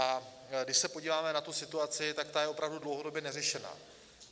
A když se podíváme na tu situaci, tak ta je opravdu dlouhodobě neřešená.